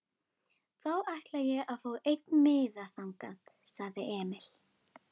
Þá ætla ég að fá einn miða þangað, sagði Emil.